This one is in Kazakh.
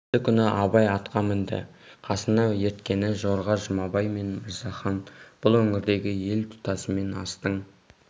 келесі күні абай атқа мінді қасына ерткені жорға жұмабай мен мырзахан бұл өңірдегі ел тұтасымен астың